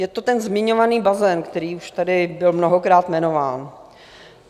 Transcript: Je to ten zmiňovaný bazén, který už tady byl mnohokrát jmenován.